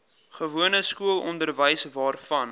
gewone skoolonderwys waarvan